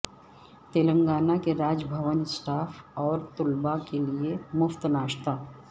تلنگانہ کے راج بھون اسٹاف اور طلبہ کیلئے مفت ناشتہ